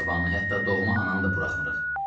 Qohum-əqrabanı, hətta doğma ananı da buraxmırıq.